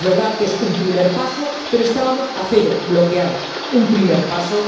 Es verdad que es un primer paso, pero estábamos a cero, bloqueados. Un primer paso.